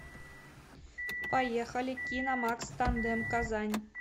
поехали киномакс тандем казань